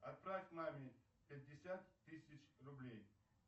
отправь маме пятьдесят тысяч рублей